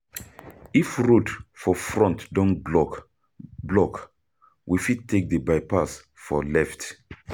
If road for front don block, block, we fit take di bypass for left.